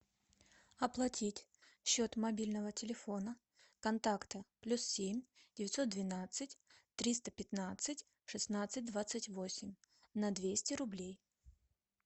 оплатить счет мобильного телефона контакты плюс семь девятьсот двенадцать триста пятнадцать шестнадцать двадцать восемь на двести рублей